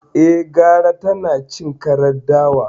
Eh, gara tanacin karar dawa